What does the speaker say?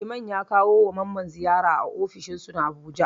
Liman ya kawo ma Mamman ziyara a ofishin su na Abuja.